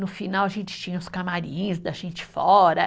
No final, a gente tinha os camarins da gente fora.